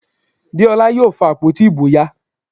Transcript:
Deola yóò fa àpótí ìbò ya